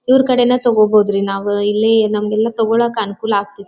ಇವರು ಕಡೆನೇ ತಗೋಬೋದು ರೀ ನಾವು ಇಲ್ಲೇ ಎಲ್ಲ ತೊಗಲಕ್ಕೆ ಅನುಕೂಲ ಆಗ್ತತೆ.